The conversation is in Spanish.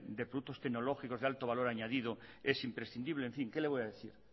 de productos tecnológicos de alto valor añadido es imprescindible en fin qué le voy a decir